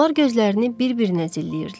Onlar gözlərini bir-birinə zilləyirdilər.